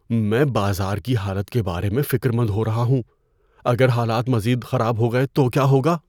میں بازار کی حالت کے بارے میں فکر مند ہو رہا ہوں۔ اگر حالات مزید خراب ہو گئے تو کیا ہوگا؟